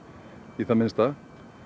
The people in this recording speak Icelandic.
í það minnsta